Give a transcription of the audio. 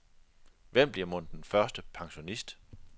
Hvem bliver mon den første pensionist.